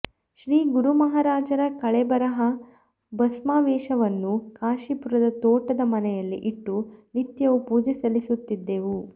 ಶ್ರೀ ಗುರುಮಹಾರಾಜರ ಕಳೇಬರದ ಭಸ್ಮಾವಶೇಷವನ್ನು ಕಾಶೀಪುರದ ತೋಟದ ಮನೆಯಲ್ಲಿ ಇಟ್ಟು ನಿತ್ಯವೂ ಪೂಜೆ ಸಲ್ಲಿಸುತ್ತಿದ್ದೆವು